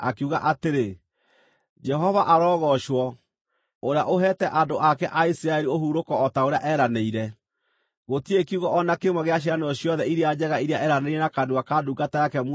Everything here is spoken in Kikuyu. “Jehova arogoocwo, ũrĩa ũheete andũ ake a Isiraeli ũhurũko o ta ũrĩa eranĩire. Gũtirĩ kiugo o na kĩmwe gĩa ciĩranĩro ciothe iria njega iria eeranĩire na kanua ka ndungata yake Musa gĩtahingĩte.